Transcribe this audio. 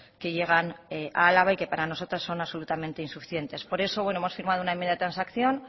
que llegan a álava y que para nosotros son absolutamente insuficientes por eso hemos firmado una enmienda de transacción